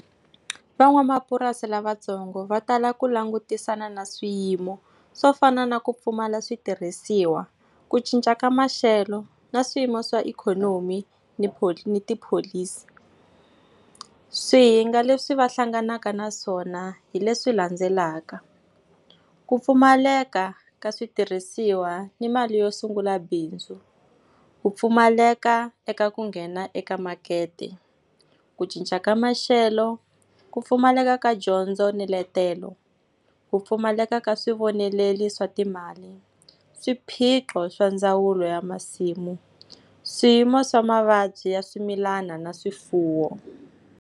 Van'wamapurasi lavatsongo va tala ku langutisana na swiyimo swo fana na ku pfumala switirhisiwa, ku cinca ka maxelo na swiyimo swa ikhonomi ni ni tipholisi. Swihinga leswi va hlanganaka na swona hi leswi landzelaka. Ku pfumaleka ka switirhisiwa ni mali yo sungula bindzu, ku pfumaleka eka ku nghena eka makete, ku cinca ka maxelo, ku pfumaleka ka dyondzo ni letelo, ku pfumaleka ka swivoneleli swa timali, swiphiqo swa ndzawulo ya masimu, swiyimo swa mavabyi ya swimilana na swifuwo.